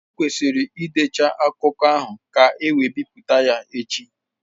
Ọ kwesịrị ịdecha akụkọ ahụ ka e wee bipụta ya echi.